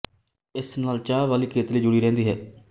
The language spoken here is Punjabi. ਇਸ ਨਾਲ ਚਾਹ ਵਾਲੀ ਕੇਤਲੀ ਜੁੜੀ ਰਹਿੰਦੀ ਹੈ